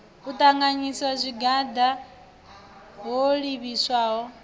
u ṱanganyisa zwigwada ho livhiswaho